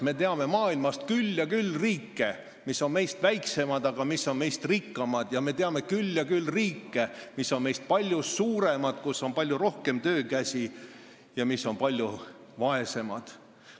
Me teame maailmas küll ja küll riike, mis on meist väiksemad, aga mis on meist rikkamad, ja me teame küll ja küll riike, mis on meist palju suuremad, kus on palju rohkem töökäsi, aga mis on meist palju vaesemad.